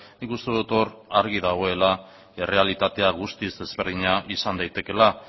nik uste dut hor argi dagoela errealitatea guztiz ezberdina izan daitekeela